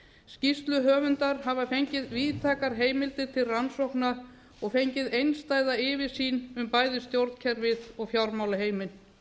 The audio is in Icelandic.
skýrsluhöfundar hafa fengið víðtækar heimildir til rannsókna og fengið einstæða yfirsýn um bæði stjórnkerfið og fjármálaheiminn